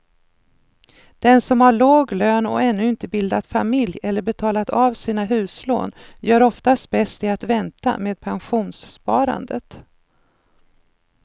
Den som har låg lön och ännu inte bildat familj eller betalat av sina huslån gör oftast bäst i att vänta med pensionssparandet.